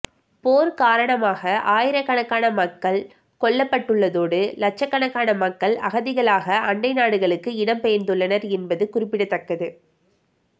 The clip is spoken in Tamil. போர் காரணமாக ஆயிரக்கணக்கான மக்கள் கொல்லப்பட்டுள்ளதோடு இலட்சக்கணக்கான மக்கள் அகதிகளாக அண்டை நாடுகளுக்கு இடம் பெயர்ந்துள்ளனர் என்பது குறிப்பிடத்தக்கது